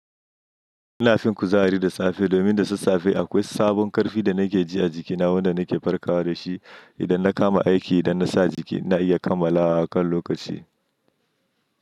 Ina fin kuzari da tsafe domin da sassafe akwai sabon karfi da nake ji a jikina wanda nake farkawa da shi. Idan na kama aiki idan na sa jiki na iya kammalawa a kan lokaci.